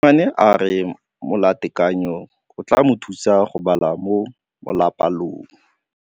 Mosimane a re molatekanyô o tla mo thusa go bala mo molapalong.